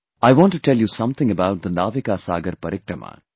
I want to tell you something about the 'Naavika Saagar Parikrama'